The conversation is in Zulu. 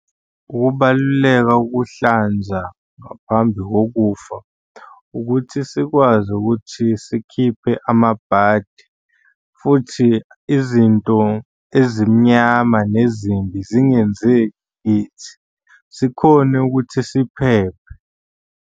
Ukubaluleka ukuhlanza ngaphambi kokufa ukuthi sikwazi ukuthi sikhiphe amabhadi futhi izinto ezimnyama nezimbi zingenzeki kithi, sikhone ukuthi siphephe.